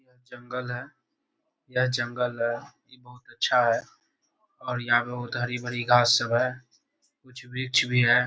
जंगल है यह जंगल बहुत अच्छा है और यहाँ पर बहुत हरी-भारी घास सब हैं कुछ वृक्ष भी हैं|